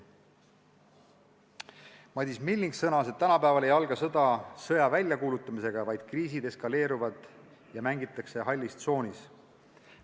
Madis Milling sõnas, et tänapäeval ei alga sõda enam sõja väljakuulutamisega, vaid kriisid eskaleeruvad ja mängitakse hallis tsoonis.